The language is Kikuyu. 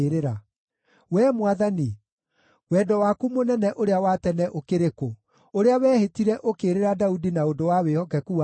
Wee Mwathani, wendo waku mũnene ũrĩa wa tene ũkĩrĩ kũ, ũrĩa wehĩtire, ũkĩĩrĩra Daudi na ũndũ wa wĩhokeku waku?